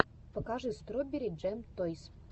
покажи строберри джэм тойс